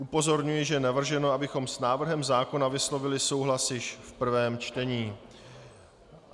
Upozorňuji, že je navrženo, abychom s návrhem zákona vyslovili souhlas již v prvém čtení.